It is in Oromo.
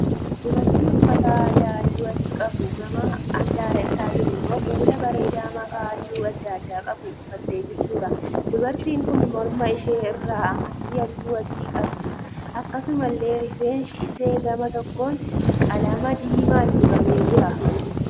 Dubartii uffata aadaa halluu adii qabu gama handaara isaatiin immoo kuula bareedaa makaa halluu adda addaa qabu uffattee jirtuudha. Dubartiin kun morma ishee irraa amartii halluu adii qabdi. Akkasumallee rifeensi ishee gama tokkoon qalama diimaan dibamee jira.